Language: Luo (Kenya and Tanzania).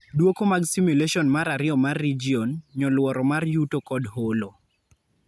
Duoko mag simulation mar ariyo mar region ,nyoluoro mar yuto kod holo.